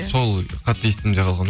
сол қатты есімде қалған